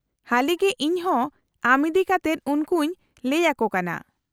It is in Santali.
-ᱦᱟᱹᱞᱤᱜᱮ ᱤᱧᱦᱚᱸ ᱟᱢ ᱤᱫᱤ ᱠᱟᱛᱮᱫ ᱩᱱᱠᱩᱧ ᱞᱟᱹᱭ ᱟᱠᱚ ᱠᱟᱱᱟ ᱾